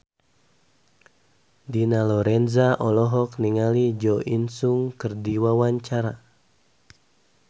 Dina Lorenza olohok ningali Jo In Sung keur diwawancara